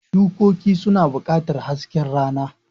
Shukoki suna buƙatar hasken rana.